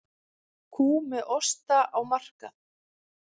Kú með osta á markað